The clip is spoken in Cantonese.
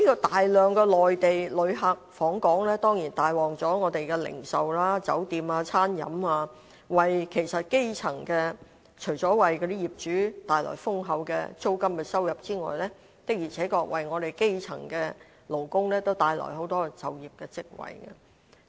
大量的內地旅客訪港，當然帶旺了本港的零售、酒店及餐飲業，除了為業主帶來豐厚的租金收入外，的確為基層勞工帶來很多就業機會。